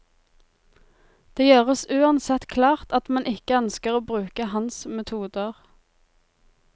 Det gjøres uansett klart at man ikke ønsker å bruke hans metoder.